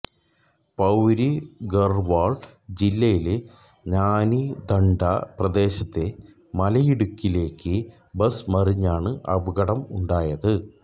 പൌരി ഗർവാൾ ജില്ലയിലെ നാനിധണ്ഡ പ്രദേശത്തെ മലയിടുക്കിലേക്ക്് ബസ് മറിഞ്ഞാണ് അപകടമുണ്ടായത്